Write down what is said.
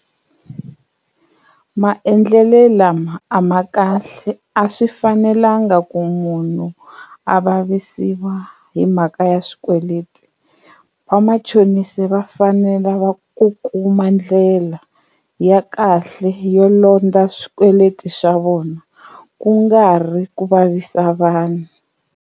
Maendlelo lama a ma kahle a swi fanelanga ku munhu a vavisiwa hi mhaka ya swikweleti vamachonisi va fanele va ku kuma ndlela ya kahle yo londza swikweleti swa vona kungari ku vavisa vanhu.